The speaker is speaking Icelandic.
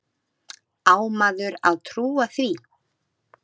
Á maður að trúa því?